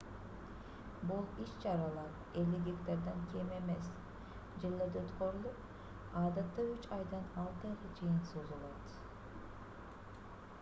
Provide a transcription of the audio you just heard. бул иш-чаралар 50 гектардан кем эмес жерлерде өткөрүлүп адатта үч айдан алты айга чейин созулат